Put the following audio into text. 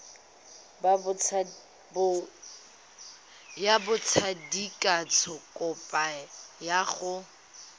ya botsadikatsho kopo ya go